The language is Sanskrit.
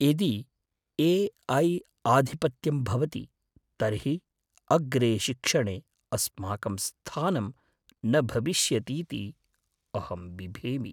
यदि ए.ऐ. आधिपत्यं भवति तर्हि अग्रे शिक्षणे अस्माकं स्थानं न भविष्यतीति अहं बिभेमि।